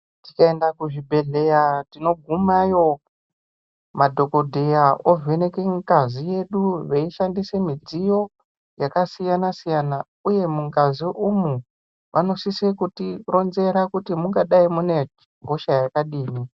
Tikaenda kuzvibhedhlera tinogumayo madhokodheya ovheneka ngazi yedu veishandisa midziyo yakasiyana siyana uye mungazi umu munosisa kuti ronzera kuti mungadai mune hosha yakadini.